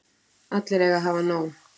Allir eiga að hafa nóg.